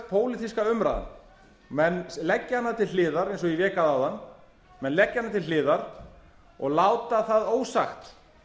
pólitíska umræðan menn leggja hana til hliðar eins og ég vék að áðan menn leggja hana til hliðar og láta það ósagt